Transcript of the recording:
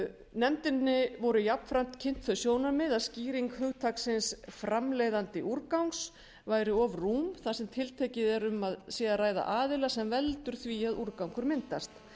nefndinni voru jafnframt kynnt þau sjónarmið að skýring hugtaksins framleiðandi úrgangs væri of rúm þar sem tiltekið er að um sé að ræða aðila sem veldur því að úrgangur myndast